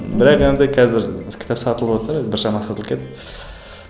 бірақ енді қазір кітап сатылыватыр біршама сатылып кетті